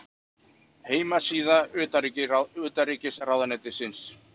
Heimasíða utanríkisráðuneytisins.